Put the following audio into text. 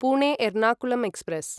Pune Ernakulam express